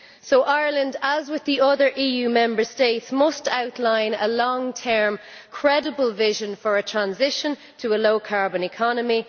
So Ireland, as with the other EU Member States, must outline a long term credible vision for a transition to a low carbon economy.